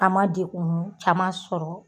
An ma dekun caman sɔrɔ.